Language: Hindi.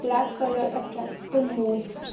black colour attract the most --